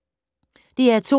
DR2